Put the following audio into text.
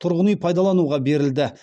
тұрғын үй пайдалануға берілді